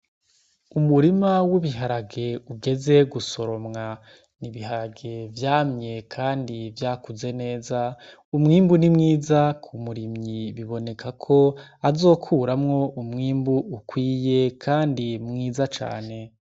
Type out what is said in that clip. Umurima w'ibiharage ugezwe gusoromwa, ni ibiharage vyamye kandi vyakuze neza. Umwimbu ni mwiza ku murimyi, biboneka ko azokuramwo umwimbu ukwiye kandi mwiza cane.